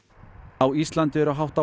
á Íslandi eru hátt á